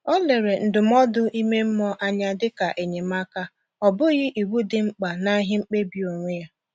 O lere ndụmọdụ ime mmụọ anya dịka enyemaka, ọ bụghị iwu dị mkpa n’ihe mkpebi onwe ya.